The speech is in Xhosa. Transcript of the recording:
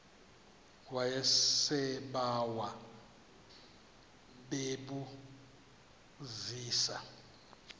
yasebawa bebu zisa